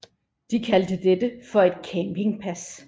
De kaldte dette for et campingpas